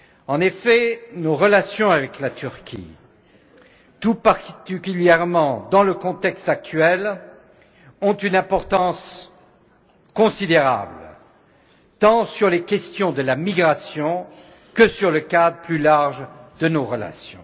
En effet, nos relations avec la Turquie, tout particulièrement dans le contexte actuel, ont une importance considérable, tant sur les questions de la migration que sur le cadre plus large de nos relations.